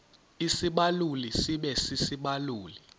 isibaluli sibe sisibaluli